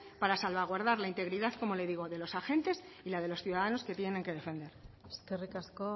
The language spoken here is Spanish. para salvaguardar la integridad como le digo de los agentes y la de los ciudadanos que tienen que defender eskerrik asko